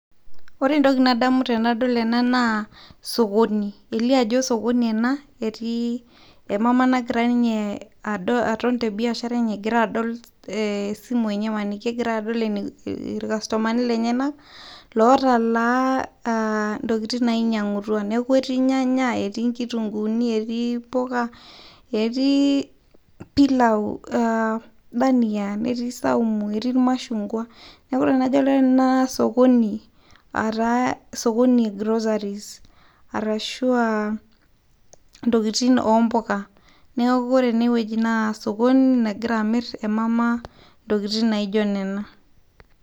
ore entoki nadamu enadol ena na sokoni elio ajo sokoni ena etii emama nagira ninye atonte biashara enye egira adol esimu enye egira adol ilkastomani lenyenak lotalaa ntokiting' nainyang'utua neaku etii ilnyanya, etii nkitunguuni, etii mpuka, etii pilau, dhania, etii saumu, netii ilmashungwa. Wore ena sokoni etaa sokoni ee groceries aashu ntokiting' ompuka neaku wore ene wueji naa sokoni nagira amirr emama nagira amirr ntokiting' naijio nena